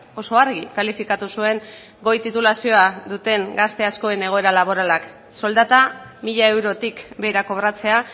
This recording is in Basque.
oso argi kalifikatu zuen goi titulazioa duten gazte askoen egoera laboralak soldata mila eurotik behera kobratzea